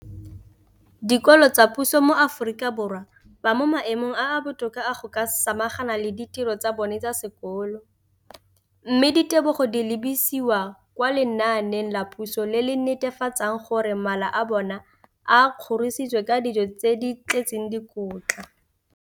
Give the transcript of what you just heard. dikolo tsa puso mo Aforika Borwa ba mo maemong a a botoka a go ka samagana le ditiro tsa bona tsa sekolo, mme ditebogo di lebisiwa kwa lenaaneng la puso le le netefatsang gore mala a bona a kgorisitswe ka dijo tse di tletseng dikotla.